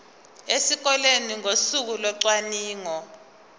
esikoleni ngosuku locwaningo